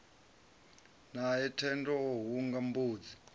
nae thendo o hunga mbudzi